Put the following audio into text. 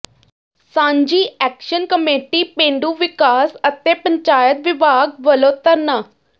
ਸਾਂਝੀ action committee ਪੇਂਡੂ ਵਿਕਾਸ ਅਤੇ ਪੰਚਾਇਤ ਵਿਭਾਗ ਵੱਲੋਂ ਧਰਨਾ